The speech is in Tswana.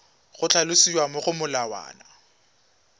go tlhalosiwa mo go molawana